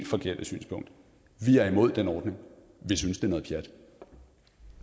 forkerte synspunkt vi er imod den ordning vi synes det